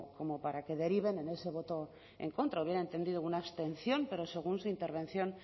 como para que deriven en ese voto en contra hubiera entendido una abstención pero según su intervención